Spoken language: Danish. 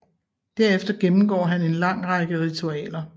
Derefter gennemgår han en lang række ritualer